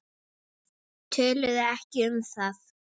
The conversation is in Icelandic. Töluðu ekki um það.